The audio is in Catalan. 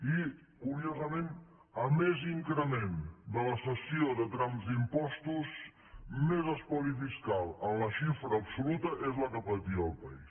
i curiosament a més increment de la cessió de trams d’impostos més espoli fiscal en la xifra absoluta és la que patia el país